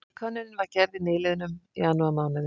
Könnunin var gerð í nýliðnum janúarmánuði